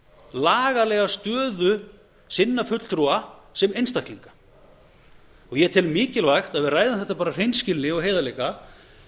lagalega stöðu sinna fulltrúa sem einstaklinga og ég tel mikilvægt að við ræðum þetta af hreinskilni og heiðarleika